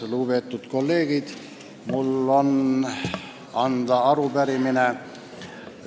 Lugupeetud kolleegid!